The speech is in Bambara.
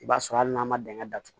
I b'a sɔrɔ hali n'a ma dingɛ datugu